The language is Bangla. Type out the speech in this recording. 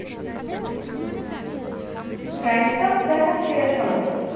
গ্যাংটক দেখার সেরা সময় কি?